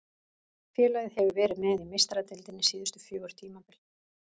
Félagið hefur verið með í Meistaradeildinni síðustu fjögur tímabil.